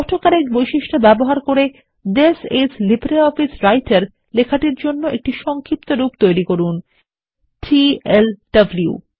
auto correct বৈশিষ্ট্য ব্যবহার করে থিস আইএস লিব্রিঅফিস রাইটের লেখার জন্য একটি সংক্ষিপ্তরূপ তৈরি করুন টিএলডব্লু